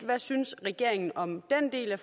hvad synes regeringen om den del af